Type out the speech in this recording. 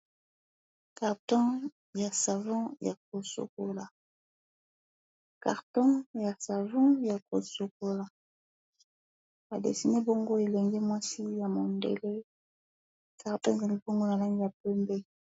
karton ya savon ya kosokola ba desine bongo elenge mwasi ya mundele tarpea libongo na langi ya pembe